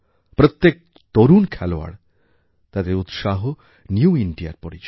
প্রত্যেক তরুণ খেলোয়াড় তাদের উৎসাহ নিউ Indiaর পরিচয়